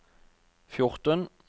fjorten